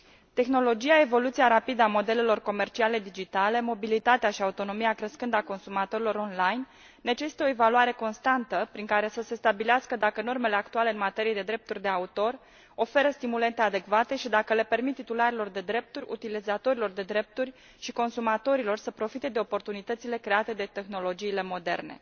Tehnologia, evoluția rapidă a modelelor comerciale digitale, mobilitatea și autonomia crescândă a consumatorilor online, necesită o evaluare constantă, prin care să se stabilească dacă normele actuale în materie de drepturi de autor oferă stimulente adecvate și dacă le permit titularilor de drepturi, utilizatorilor de drepturi și consumatorilor să profite de oportunitățile create de tehnologiile moderne.